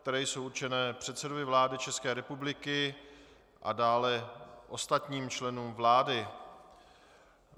které jsou určené předsedovi vlády České republiky a dále ostatním členům vlády.